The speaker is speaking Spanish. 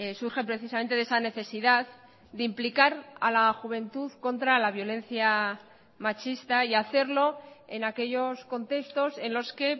surge precisamente de esa necesidad de implicar a la juventud contra la violencia machista y hacerlo en aquellos contextos en los que